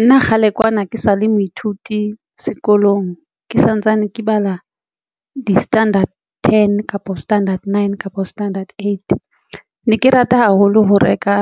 Nna kgale kwana ke sale moithuti sekolong Ke santsane ke bala di-standard ten kapa standard nine kapo standard eight ne ke rata haholo ho reka